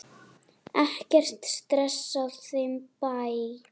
Ekkert stress á þeim bæ.